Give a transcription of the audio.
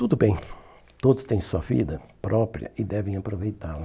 Tudo bem, todos têm sua vida própria e devem aproveitá-la.